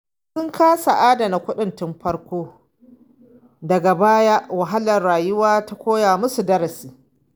Sun kasa adana kuɗi tun farko, daga baya wahalar rayuwa ta koya musu darasi.